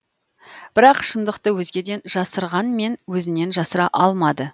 бірақ шындықты өзгеден жасырғанмен өзінен жасыра алмады